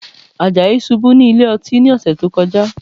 Àjàyí ṣubú sí ilé ọtí ní ọ̀sẹ̀ tó kọjá